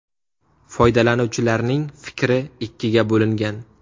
Foydalanuvchilarning fikri ikkiga bo‘lingan.